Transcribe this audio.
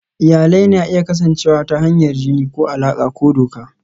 Iyalai na iya kasancewa ta hanyar jini ko alaƙa ta doka.